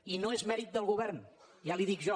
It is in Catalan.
i no és mèrit del govern ja li ho dic jo